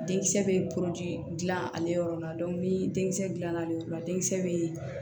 Denkisɛ bɛ gilan ale yɔrɔ la ni denkisɛ dilanna ale yɔrɔ la denkisɛ bɛ